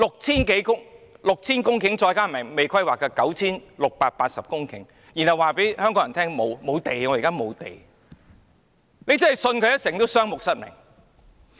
現時有 6,000 公頃土地，加上尚未規劃的 9,680 公頃土地，但政府卻對香港人說現在沒有土地，真是"信它一成，雙目失明"。